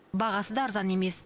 бағасы да арзан емес